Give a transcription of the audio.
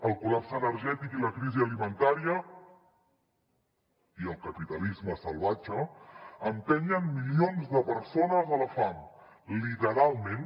el col·lapse energètic i la crisi alimentària i el capitalisme salvatge empenyen milions de persones a la fam literalment